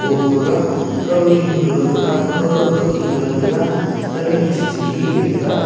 o gaga kauding galo taga kaukho kaykhin galo taga kaumik ke sikhikhi ley taga.